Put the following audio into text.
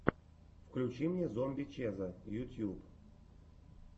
включи мне зомби чеза ютуб